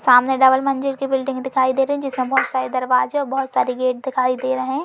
सामने डबल मंजिल की बिल्डिंग दिखाई रही जिसमें बहुत सारे दरवाजे और बहुत सारे गेट दिखाई दे रहें --